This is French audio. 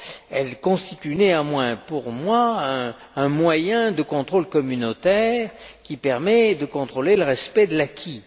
Elle constitue néanmoins pour moi un moyen de contrôle communautaire qui permet de contrôler le respect de l'acquis.